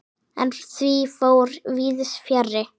En því fór víðs fjarri.